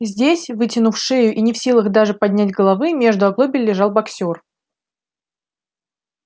здесь вытянув шею и не в силах даже поднять головы между оглобель лежал боксёр